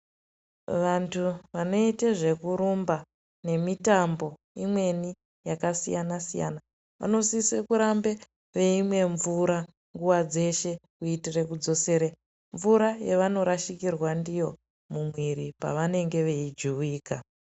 Vantu vanoita zvekurumba nemitambo imweni yakasiyana siyana vanosisa kurambe veimwa mvura nguwa dzeshe kuitira kudzosera mvura yavanorashikirwa ndiyo mumwiri pavanenge veijuwika.